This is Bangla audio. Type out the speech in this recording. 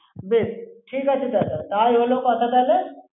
বেশ, ঠিক আছে, দাদা। তাই হলো কথা তাহলে।